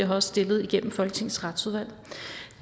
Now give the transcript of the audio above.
har stillet igennem folketingets retsudvalg